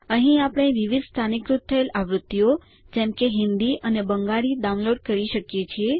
અહીં આપણે વિવિધ સ્થાનીકૃત થયેલ આવૃત્તિઓ જેમ કે હિન્દી અથવા બંગાળી ડાઉનલોડ કરી શકીએ છીએ